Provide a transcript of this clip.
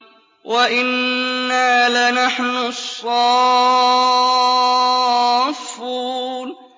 وَإِنَّا لَنَحْنُ الصَّافُّونَ